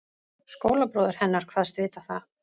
Skólabróðir hennar kvaðst vita það.